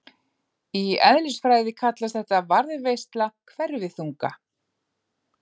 Í eðlisfræði kallast þetta varðveisla hverfiþunga.